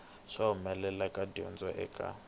swa mbuyelo wa dyondzo eka